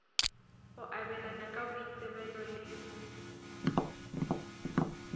go abelana ka boitsebelo le